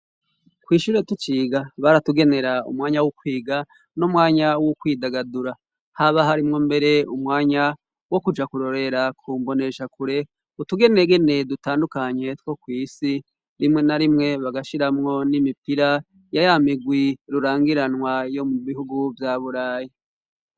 kw'ishure tuciga baratugenera umwanya w'ukwiga n'umwanya wo kwidagadura haba harimwo mbere umwanya wo kuja kurorera kumboneshakure utugenegene dutandukanye two kw'isi. Rimwe na rimwe bagashiramwo n'imipira ya yamigwi rurangiranwa yo mubihugu vya burayi.